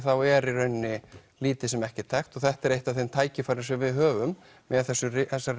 er í rauninni lítið sem ekkert þekkt og þetta er eitt af þeim tækifærum sem við höfum með þessari